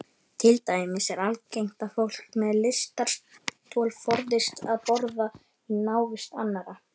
Til dæmis er algengt að fólk með lystarstol forðist að borða í návist annarra.